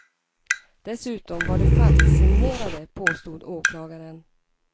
Dessutom var de falsksignerade, påstod åklagaren.